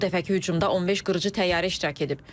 Bu dəfəki hücumda 15 qırıcı təyyarə iştirak edib.